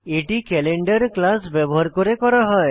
এটি calendar class ব্যবহার করে করা হয়